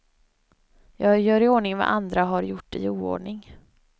Jag gör i ordning vad andra har gjort i oordning.